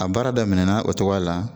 A baara daminɛna o cogoya la